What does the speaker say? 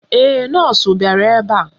Ee, nọọsụ bịara ebe a.